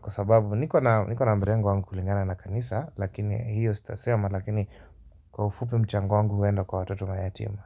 kwa sababu niko na mrengo wangu kulingana na kanisa lakini hiyo sitasema lakini kwa ufupi mchango wangu huenda kwa watoto mayatima.